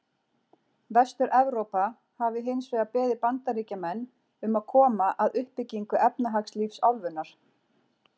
Vestur-Evrópa hafi hins vegar beðið Bandaríkjamenn um að koma að uppbyggingu efnahagslífs álfunnar.